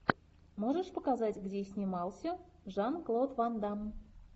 можешь показать где снимался жан клод ван дамм